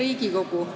Hea Riigikogu!